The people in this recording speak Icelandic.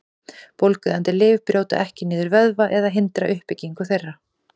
Bólgueyðandi lyf brjóta ekki niður vöðva eða hindra uppbyggingu þeirra.